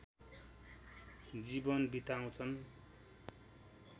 जीवन बिताउँछन्।